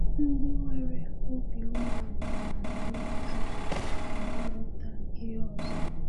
Ndị nwere obi umeala na-ajụ ajụjụ ka ha ghọta ihe ọzọ.